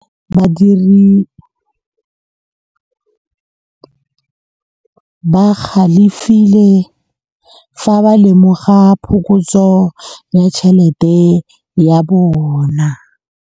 Badiri ba galefile fa ba lemoga phokotsô ya tšhelête ya bone.